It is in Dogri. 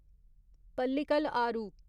पल्लीकल आरू